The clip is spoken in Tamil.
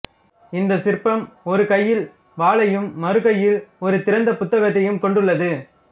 இந்தச் சிற்பம் ஒரு கையில் வாளையும் மறு கையில் ஒரு திறந்த புத்தகத்தையும் கொண்டுள்ளது